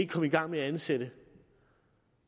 komme i gang med at ansætte